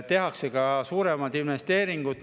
Tehakse ka suuremad investeeringud.